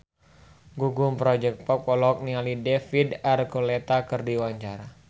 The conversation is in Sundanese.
Gugum Project Pop olohok ningali David Archuletta keur diwawancara